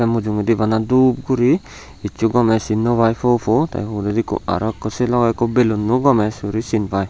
mujungedi bana dup guri hissu gomey sin naw pai po po tey uguredi ikko aro ekko sei logey ikko belunno gomesuri sin pai.